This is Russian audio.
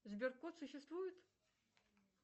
сберкот существует